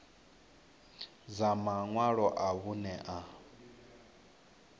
dza maṅwalo a vhuṋe a